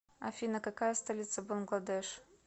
афина какая столица бангладеш